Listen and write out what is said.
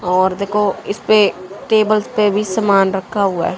और देखो इस पे टेबल्स पे भी सामान रखा हुआ है।